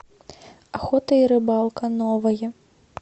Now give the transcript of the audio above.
охота и рыбалка новое